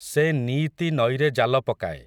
ସେ ନିଇତି ନଈରେ ଜାଲ ପକାଏ ।